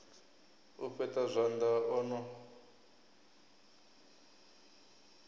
u fheṱa zwanḓa o no